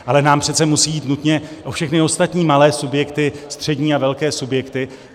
Ale nám přece musí jít nutně o všechny ostatní malé subjekty, střední a velké subjekty.